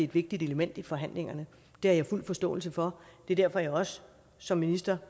vigtigt element i forhandlingerne det har jeg fuld forståelse for det er derfor jeg også som minister